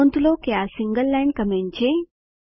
નોંધ લો આ સિંગલ લાઈન કમેન્ટ છે